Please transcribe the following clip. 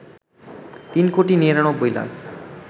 ৩ কোটি ৯৯ লাখ